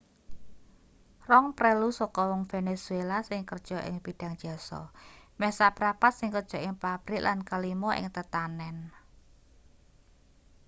rong prelu saka wong venezuela sing kerja ing bidhang jasa meh saprapat sing kerja ing pabrik lan kalima ing tetanen